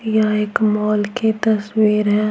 यह एक मॉल की तस्वीर है।